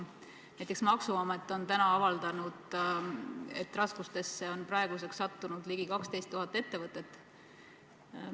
Näiteks, maksuamet on täna avaldanud, et raskustesse on praeguseks sattunud ligi 12 000 ettevõtet.